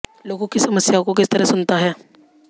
लोगों की समस्याओं को किस तरह सुनता हैं